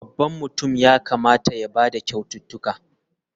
Babban mutum ya kamata ya ba da kyaututtukan.